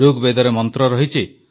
ଋଗବେଦରେ ମନ୍ତ୍ର ରହିଛି